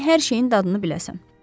Gərək hər şeyin dadını biləsən.